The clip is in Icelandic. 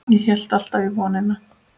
Ég hélt alltaf í vonina.